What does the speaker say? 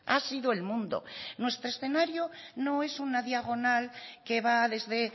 ha sido el mundo nuestro escenario no es una diagonal que va desde